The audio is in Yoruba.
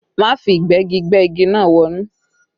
Má fi Ìgbẹ́gi gbẹ́ igi náà wọnú!